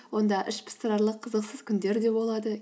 онда ішпыстырарлық қызықсыз күндер де болады